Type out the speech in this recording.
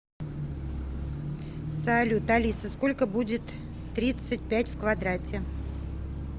салют алиса сколько будет тридцать пять в квадрате